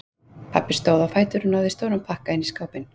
Pabbi stóð á fætur og náði í stóran pakka inn í skápinn.